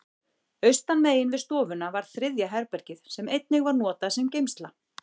Austanmegin við stofuna var þriðja herbergið, sem einnig var notað sem geymsla.